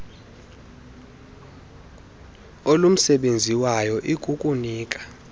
olumsebenzi wayo ikukunika